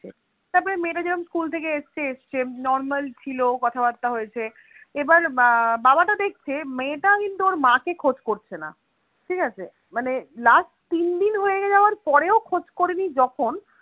তারপরে মেয়েটা যেরম school থেকে এসেছে normal ছিল কথাবার্তা হয়েছে এবার এর বাবাটা দেখছে মেয়েটা কিন্তু ওর মাকে খোঁজ করছেনা, ঠিক আছে মানে last তিনদিন হয়ে যাবার পরেও খোঁজ করেনি যখন